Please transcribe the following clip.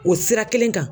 O sira kelen kan